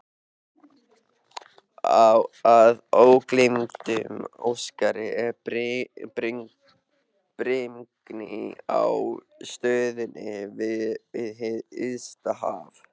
Að ógleymdum öskrandi brimgný á ströndinni við hið ysta haf.